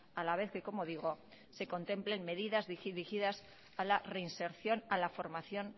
a la vez que como digo se contemplen medidas dirigidas a la reinserción a la formación